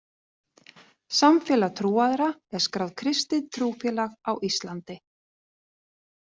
Samfélag trúaðra er skráð kristið trúfélag á Íslandi.